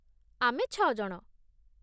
ଆମେ ଛଅ ଜଣ ।